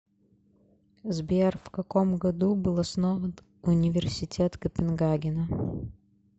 сбер вкаком году был основан университет копенгагена